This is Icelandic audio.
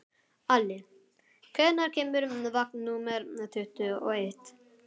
Ali, hvenær kemur vagn númer tuttugu og eitt?